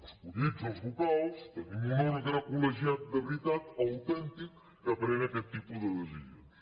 escollits els vocals tenim un òrgan col·legiat de veritat autèntic que pren aquest tipus de decisions